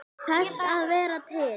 Þess að vera til.